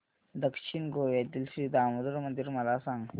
दक्षिण गोव्यातील श्री दामोदर मंदिर मला सांग